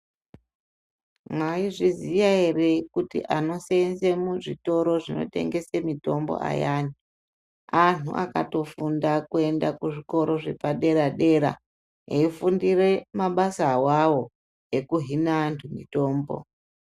Maizviziya ere kuti anosenze muzvitoro zvinotengese mitombo ayani. Antu akatofunda kuenda kuzvikoro zvepadera-dera eifundire mabasa avavo, ekuhina antu mitombo.